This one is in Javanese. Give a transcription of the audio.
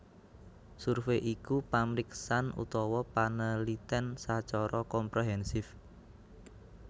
Survei iku pamriksan utawa panelitèn sacara komprehensif